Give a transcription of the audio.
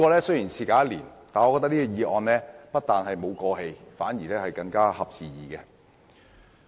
雖然事隔一年，但本議案不但沒有顯得過時，反而更合時宜。